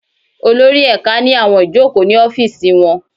Olórí ẹ̀ka ní àwọn ìjókòó ní ọ́fìsì wọn